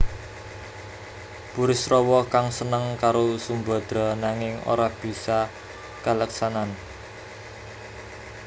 Burisrawa kang seneng karo Sumbadra nanging ora bisa kaleksanan